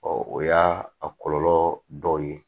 o y'a a kɔlɔlɔ dɔ ye